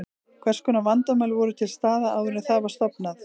Hvers konar vandamál voru til staðar áður en það var stofnað?